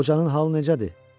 Qocanın halı necədir?